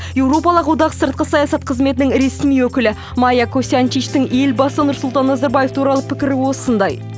еуропалық одақ сыртқы саясат қызметінің ресми өкілі майя косьянчичтің елбасы нұрсұлтан назарбаев туралы пікірі осындай